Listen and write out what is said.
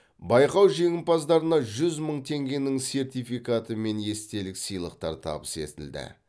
байқау жеңімпаздарына жүз мың теңгенің сертификаты мен естелік сыйлықтар табыс етілді